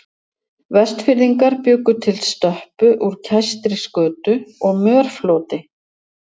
Vestfirðingar bjuggu til stöppu úr kæstri skötu og mörfloti.